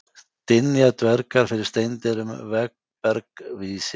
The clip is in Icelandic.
Stynja dvergar fyrir steindyrum, veggbergs vísir.